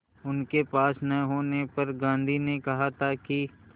उनके पास न होने पर गांधी ने कहा था कि